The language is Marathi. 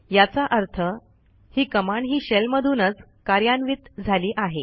याचा अर्थ ही कमांड ही शेल मधूनच कार्यान्वित झाली आहे